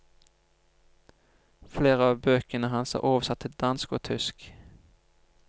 Flere av bøkene hans er oversatt til dansk og tysk.